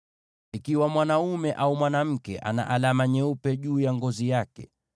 “Ikiwa mwanaume au mwanamke ana alama nyeupe juu ya ngozi yake,